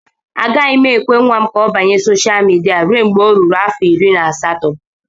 Agaghị m nwa m ka ọ banye sosha midia ruo mgbe ọ ruru afọ iri na asatọ